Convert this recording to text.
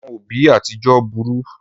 Àwọn òbí àtijọ burú.